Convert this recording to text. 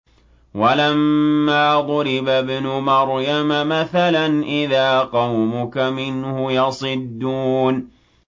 ۞ وَلَمَّا ضُرِبَ ابْنُ مَرْيَمَ مَثَلًا إِذَا قَوْمُكَ مِنْهُ يَصِدُّونَ